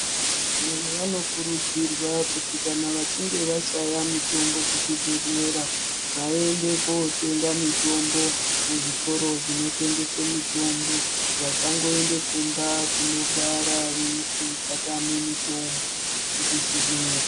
Vantu vanokurudzirwa kuti kana vachinga vashaya mitombo kuzvibhedhlera vaende kotenga mitombo kuzvitoro zvinotengese mitombo vasangoende kumba kogara veiti tatame mitombo kuzvibhedhlera.